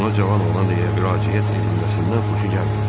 Ona cavan oğlan deyə müraciət edilməsindən xoşu gəlmirdi.